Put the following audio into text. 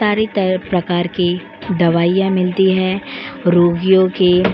सारी तरह प्रकार की दवाइयां मिलती है रोगियों के --